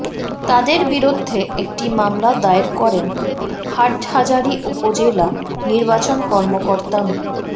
তাদের বিরুদ্ধে একটি মামলা দায়ের করেন হাটহাজারি উপজেলা নির্বাচন কর্মকর্তা মো